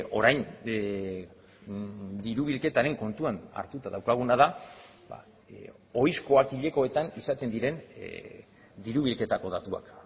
orain diru bilketaren kontuan hartuta daukaguna da ohizkoak hilekoetan izaten diren diru bilketako datuak